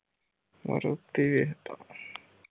maruti ਵੇਖਦਾਂ